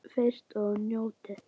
Frystið og njótið.